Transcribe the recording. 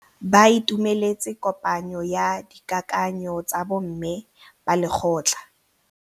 Ba itumeletse kôpanyo ya dikakanyô tsa bo mme ba lekgotla.